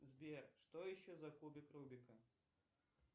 сбер что еще за кубик рубика